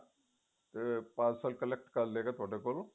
ਅਹ parcel collect ਕਰ ਲਵੇਗਾ ਤੁਹਾਡੇ ਕੋਲੋਂ